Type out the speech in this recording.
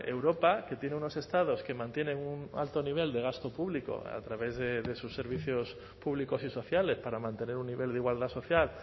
europa que tiene unos estados que mantienen un alto nivel de gasto público a través de sus servicios públicos y sociales para mantener un nivel de igualdad social